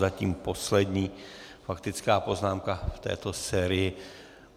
Zatím poslední faktická poznámka v této sérii.